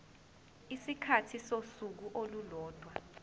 isikhathi sosuku olulodwa